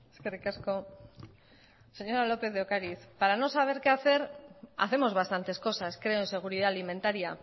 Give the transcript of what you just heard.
eskerrik asko señora lópez de ocariz para no saber qué hacer hacemos bastantes cosas creo en seguridad alimentaria